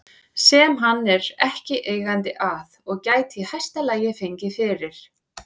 sem hann er ekki eigandi að og gæti í hæsta lagi fengið fyrir